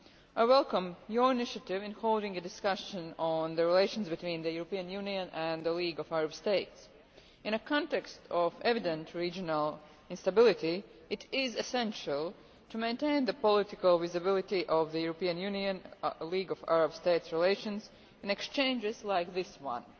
I welcome your initiative in holding a discussion on the relations between the European Union and the League of Arab States. In a context of evident regional instability, it is essential to maintain the political visibility of relations between the European Union and the League of Arab States in exchanges like this one.